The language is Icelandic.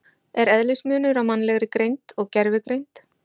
Er eðlismunur á mannlegri greind og gervigreind?